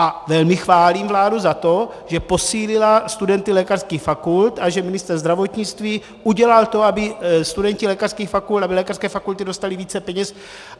A velmi chválím vládu za to, že posílila studenty lékařských fakult a že ministr zdravotnictví udělal to, aby studenti lékařských fakult, aby lékařské fakulty dostali více peněz.